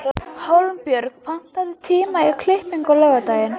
Raggi horfir á hann önugur og hristir höfuðið.